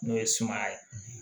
N'o ye sumaya ye